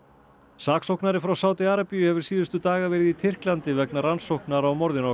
saksóknari frá Sádi Arabíu hefur síðustu daga verið í Tyrklandi vegna rannsóknar á morðinu á